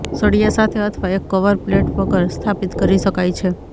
સળિયા સાથે અથવા એક કવર પ્લેટ વગર સ્થાપિત કરી શકાય છે